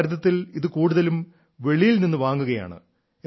ഭാരതത്തിൽ ഇത് കൂടുതലും വെളിയിൽ നിന്നു വാങ്ങുകയാണ്